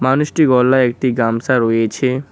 মানুষটির গলায় একটি গামসা রয়েছে।